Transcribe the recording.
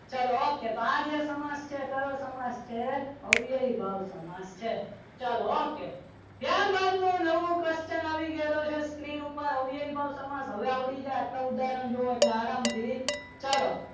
ચાલો okay તો આજે સમાજ છે એ કયો સમાસ છે અવયવી ભાવ સમાસ છે ચાલો ઓકે ત્યારબાદ નો નવો question આવી ગયેલો છે screen ઉપર અવયવી ભાવ સમાજ હવે આપણી જે આટલા ઉદાહરણ જોયા એટલે આરામથી ચાલો